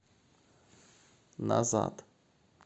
назад